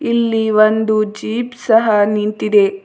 ಇಲ್ಲಿ ಒಂದು ಜೀಪ್ ಸಹ ನಿಂತಿದೆ.